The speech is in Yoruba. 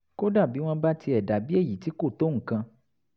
kódà bí wọ́n bá tiẹ̀ dà bí èyí tí kò tó nǹkan